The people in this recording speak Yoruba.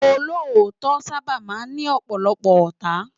Ólótò sàbá má n ni òpòlòpò òtá